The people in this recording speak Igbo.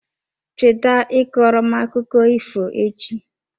Cheta ịkọrọ m akụkọ ifo echi.